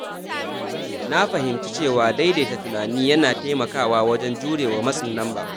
Na fahimci cewa daidaita tunani yana taimakawa wajen jurewa matsin lamba.